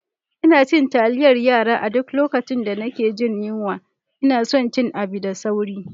Ina cin taliyar yara a duk lokacin da nake jin yunwa ina son cin abu da sauri.